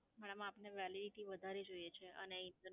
madam આપને Validity વધારે જોઈએ છે અને